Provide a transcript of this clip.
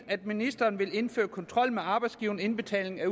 at ministeren vil indføre kontrol med arbejdsgiverindbetaling af